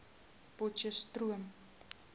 potcheftsroom